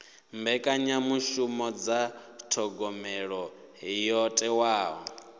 mbekanyamishumo dza thogomelo yo thewaho